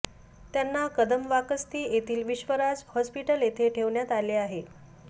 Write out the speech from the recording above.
त्यांना कदमवाकस्ती येथील विश्वराज हॉस्पिटल येथे ठेवण्यात आले आहे